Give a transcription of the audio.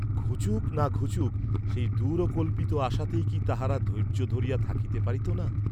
ঘুচুক না ঘুচুক সেই দূরকল্পিত আশাতেই কি তাহারা ধৈর্য্য ধরিয়া থাকিতে পারিত না?